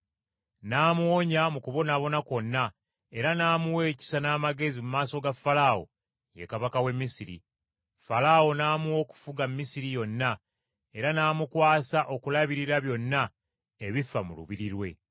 n’amuwonya mu kubonaabona kwonna era n’amuwa ekisa n’amagezi mu maaso ga Falaawo, ye kabaka w’e Misiri. Falaawo n’amuwa okufuga Misiri yonna era n’amukwasa okulabirira byonna ebifa mu lubiri lwe.